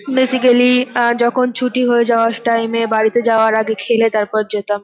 Basically ah যখন ছুটি হয়ে যাওয়ার টাইম -এ বাড়িতে যাওয়ার আগে খেলে তারপর যেতাম ।